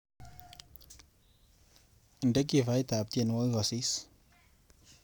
Inde kifait ab tyenwokik kosis.